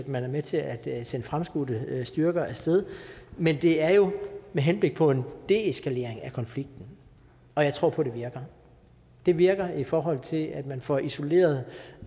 man er med til at sende fremskudte styrker af sted men det er jo med henblik på en deeskalering af konflikten og jeg tror på at det virker det virker i forhold til at man får isoleret